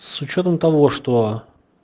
с учётом того что